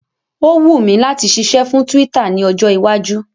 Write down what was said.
Ó wùn mi láti ṣiṣẹ́ fún Twitter ní ọjọ́ iwájú